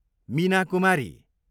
Meena Kumari